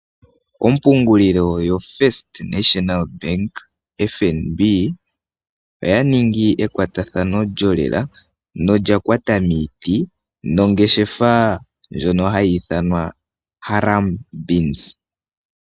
Ompungulilo yoFirst National Bank (FNB) oya ningi ekwatathano lyolela nolya kwata miiti nongeshefa ndjono hayi ithanwa Harambeans.